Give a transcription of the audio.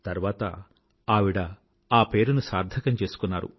తర్వాత ఆవిడ ఆ పేరుని సార్థకం చేసుకున్నారు